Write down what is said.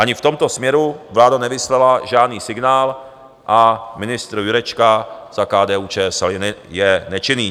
Ani v tomto směru vláda nevyslala žádný signál a ministr Jurečka za KDU-ČSL je nečinný.